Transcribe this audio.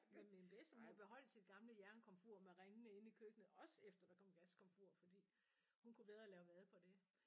Men min bedstemor beholdt sit gamle jernkomfur med ringene inde i køkkenet også efter der kom gaskomfur fordi hun kunne bedre lave mad på det